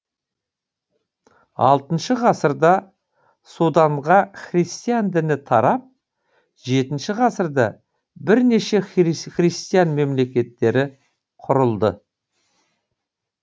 алтыншы ғасырда суданға христиан діні тарап жетінші ғасырда бірнеше христиан мемлекеттері құрылды